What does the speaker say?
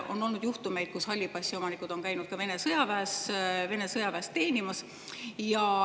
On olnud juhtumeid, kus halli passi omanikud on käinud ka Vene sõjaväes teenimas.